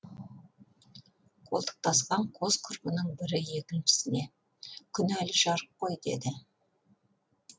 қолтықтасқан қос құрбының бірі екіншісіне күн әлі жарық қой деді